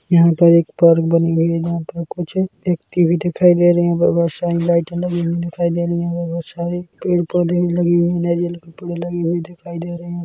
यहाँ पर एक पार्क बनी हुई है जहाँ पर कुछ एक ट्री भी दिखाई दे रही है व बहोत शाइन लाइटें लगी हुई दिखाई दे रही है बहोत सारे पेड़-पौधे लगे हुए है नारियेल के पेड़ लगे हुए दिखाई दे रहे है।